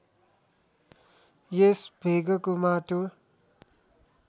यस भेगको माटो